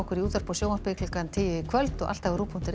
í útvarpi og sjónvarpi klukkan tíu í kvöld og alltaf á rúv punktur is